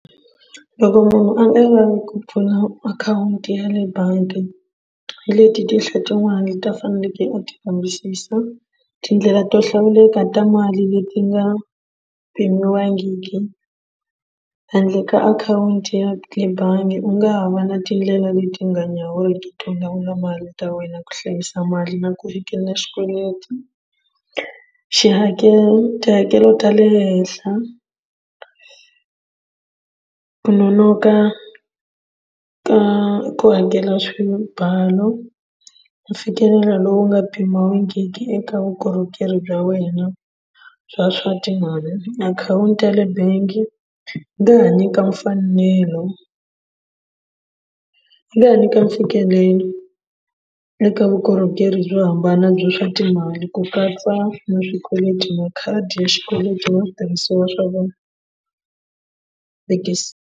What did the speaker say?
Loko munhu a nga lavi ku pfula akhawunti ya le bangi hi leti tinhla tin'wani leti a faneleke a ti kambisisa tindlela to hlawuleka ta mali leti nga pimiwangiki handle ka akhawunti ya le bangi u nga ha va na tindlela leti nga nyawuriki to nyawula mali ta wena ku hlayisa mali na ku fikela xikweleti xihakelo tihakelo ta le henhla ku nonoka ka ku hakela swibalo mfikelelo lowu nga pimiwangiki eka vukorhokeri bya wena bya swa timali akhawunti ya le bangi va hi nyika mfanelo va hi nyika mfikelelo eka vukorhokeri byo hambana bya swa timali ku katsa na swikweleti makhadi ya xikweleti na switirhisiwa swa wona .